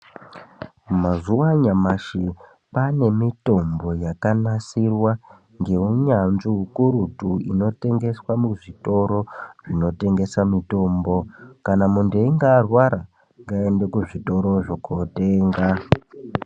Mazuwa anyamashi kwane mitombo yakanasirwa ngeunyanzvi ukurutu, ino tengeswa muzvitoro zvinotengesa mitombo, kana muntu einge arwara ngaende kuzvitorozvo kotenga .